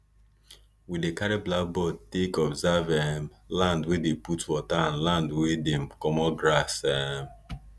we dey carry blackboard take observe um land wey dey put water and land wey dem commot grass um